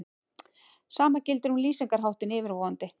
Sama gildir um lýsingarháttinn yfirvofandi.